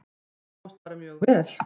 Sáust bara mjög vel.